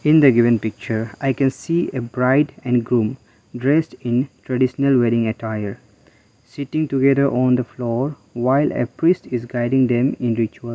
in the given picture i can see a bride and groom dressed in traditional wedding attire sitting together on the floor while a priest is guiding them in ritual.